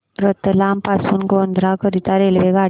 रतलाम पासून गोध्रा करीता रेल्वेगाड्या